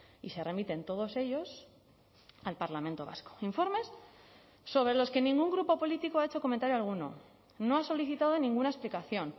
y se remiten todos ellos al parlamento vasco informes sobre los que ningún grupo político ha hecho comentario alguno no ha solicitado ninguna explicación